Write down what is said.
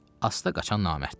Asta qaçan namərddir.